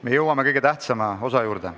Me jõuame kõige tähtsama osa juurde.